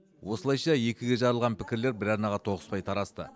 осылайша екіге жарылған пікірлер бір арнаға тоғыспай тарасты